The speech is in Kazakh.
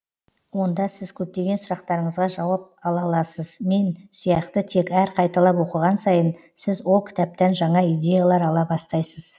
онда сіз көптеген сұрақтарыңызға жауап ала аласыз мен сияқты тек әр қайталап оқыған сайын сіз ол кітаптан жаңа идеялар ала бастайсыз